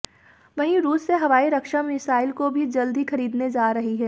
वहीं रूस से हवाई रक्षा मिसाइल को भी जल्द ही खरीदने जा रही है